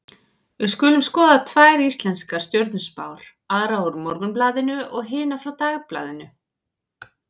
Við skulum skoða tvær íslenskar stjörnuspár, aðra úr Morgunblaðinu og hina frá Dagblaðinu.